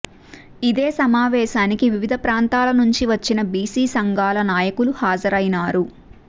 ఇదే సమావేశానికి వివిధ ప్రాంతాల నుంచి వచ్చిన బీసీ సంఘాల నాయకులు హాజరైనారు